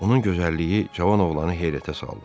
Onun gözəlliyi cavan oğlanı heyrətə saldı.